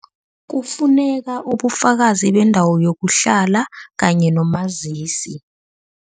Kufuneka ubufakazi bendawo yokuhlala kanye nomazisi.